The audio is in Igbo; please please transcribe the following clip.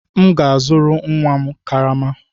M ga-azụrụ nwa ara karama.